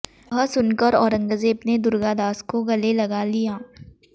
यह सुनकर औरंगज़ेब ने दुर्गादास को गले लगा लिया